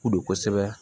Ko don kosɛbɛ